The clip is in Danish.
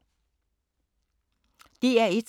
DR1